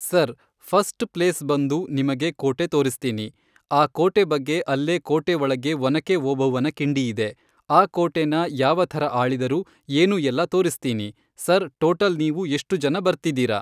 Sir first place ಬಂದು ನಿಮಗೆ ಕೋಟೆ ತೋರ್ಸ್ತೀನಿ ಆ ಕೋಟೆ ಬಗ್ಗೆ ಅಲ್ಲೇ ಕೋಟೆ ಒಳಗೆ ಒನಕೆ ಓಬವ್ವನ ಕಿಂಡಿ ಇದೆ ಆ ಕೋಟೇನ ಯಾವ ಥರ ಆಳಿದರು ಏನು ಎಲ್ಲ ತೋರ್ಸ್ತೀನಿ ಸರ್ ಟೋಟಲ್ ನೀವು ಎಷ್ಟು ಜನ ಬರ್ತಿದ್ದೀರಾ.